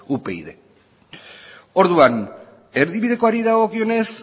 upyd orduan erdibidekoari dagokionez